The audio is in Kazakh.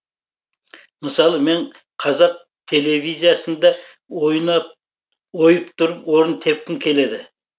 мысалы мен қазақ телевизиясында ойып тұрып орын тепкім келеді